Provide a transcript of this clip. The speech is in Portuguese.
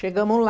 Chegamo lá.